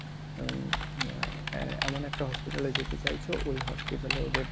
হম এ~ এমন একটা hospital এ যেতে চাইছো ওই hospital এ ওদের